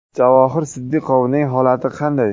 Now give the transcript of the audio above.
Javohir Sidiqovning holati qanday?